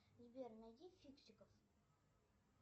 сбер найди фиксиков